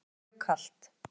Mér er mjög kalt.